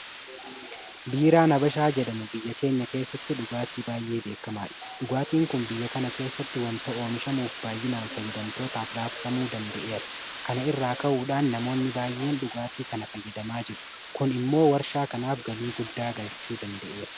Biiraan Habashaa jedhamu biyya keenya keessatti dhugaatii baay'ee beekamaadha. Dhugaatiin kun biyya kana keessatti waanta oomishamuuf baay'inaan fayyadamtootaaf raabsamuu danda'eera. Kana irraa ka'uudhaan namoonni baay'een dhugaatii kana fayyadamaa jiru. Kun immoo warshaa kanaaf galii guddaa galchuu danda'eera.